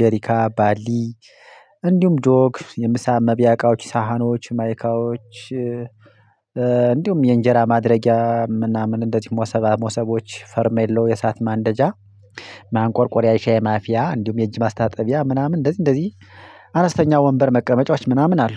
ጄሪካ ባልዲ እንዲሁም ጆግ የምሳ መብያ እቃዎች ሳሀኖች ማይካዎች እንዲሁም የእንጀራ ማድረጊያ ምናምን እንደዚህ ሞሰባ ሞሰቦች ፈርሜሎ የእሳት ማንደጃ ማንቆርቆሪያ የሻይ ማፊያ እንዲሁም የእጅ ማስታጠቢያ ምናምን እንደዚህ እንደዚህ አነስተኛ ወንበር መቀመጫዎች ምናምን አሉ።